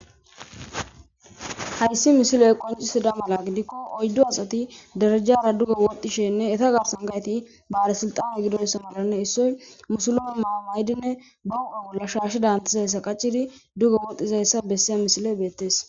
Hayssi missiley qonccisida malla gidiko oyddu assati derejjara dugge wodhdhishenne eeta garssan bellesiltane giddoysa malane issoy musilime maayo mayidi be huphphe bolla shashshe danizayssa qachchidi dizaysss bessiza missiley bettes.